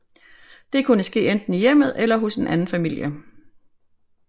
Det kunne ske enten i hjemmet eller hos en anden familie